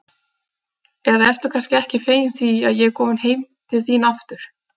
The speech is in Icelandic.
Eða ertu kannski ekki fegin því að ég er komin heim til þín aftur?